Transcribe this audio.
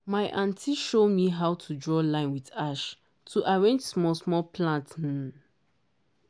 my aunty show me how to draw line with ash to arrange small small plant. um